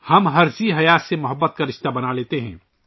ہم ہر ذی نفس سے محبت کا رشتہ بنا لیتے ہیں